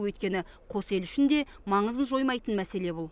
өйткені қос ел үшін де маңызын жоймайтын мәселе бұл